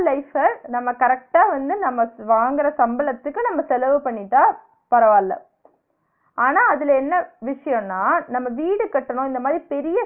பெரிய life அ நம்ம correct ஆ வந்து நம்ம வாங்குற சம்பளத்துக்கு நம்ம செலவு பண்ணிட்டா பரவாயில்ல ஆனா அதுல என்ன விஷியோன்னா நம்ம வீடு கட்டனு இந்த மாறி